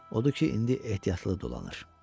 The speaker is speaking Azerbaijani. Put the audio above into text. Odur ki, indi ehtiyatlı dolanır.